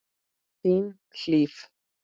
Þín, Hlíf.